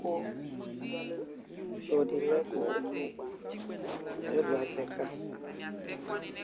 kotso dilɛ kɛlu avɛ ka